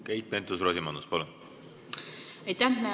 Keit Pentus-Rosimannus, palun!